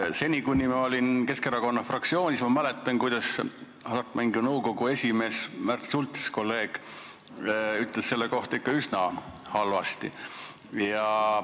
Ma mäletan, et kui ma olin Keskerakonna fraktsioonis, siis Hasartmängumaksu Nõukogu esimees Märt Sults ütles selle kava kohta ikka üsna halvasti.